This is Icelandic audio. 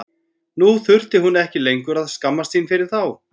Nú þurfti hún ekki lengur að skammast sín fyrir þá.